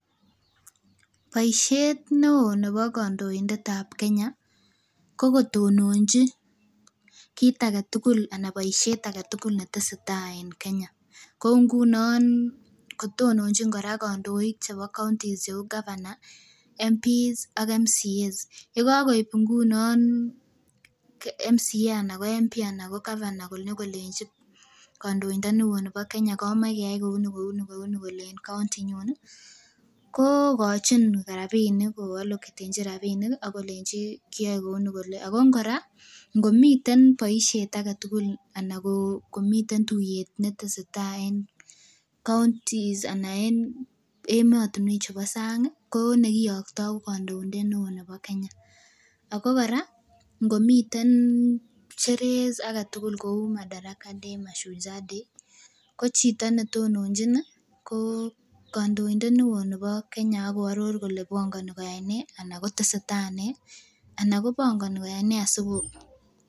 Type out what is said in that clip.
Boisiet neoo nebo kandoindet ab Kenya ko kotononji kit aketugul ana boisiet aketugul netesetai en Kenya kou ngunon kotononjin kandoik chebo counties cheu governor, members of parliament ak members of county assemblies yekakoib ngunon member of county assembly ana ko member of parliament ana ko governor konyokolenji kandoindoni oo nibo Kenya kolenji komoe keyai kouni kouni en county inyun ih kokochin rapinik ko aloketenjin rapinik akolenji kiyoe kouni kole ako kora ngomiten boisiet aketugul anan komiten tuiyet netesetai en counties ana en emotinwek chubo sang ko nekiyoktoo ko kandoindet neoo nebo Kenya ako kora ngomiten sherehe aketugul kou Madaraka day, Mashujaa day ko chito netononjin ih ko kandoindet neoo nebo Kenya ako aror kole bongoni koyai nee anan kotesetai nee ana kobongoni koyai nee asiko